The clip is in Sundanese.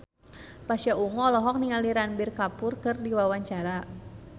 Pasha Ungu olohok ningali Ranbir Kapoor keur diwawancara